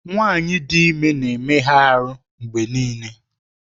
Nwanyị dị ime na-emega ahụ mgbe niile.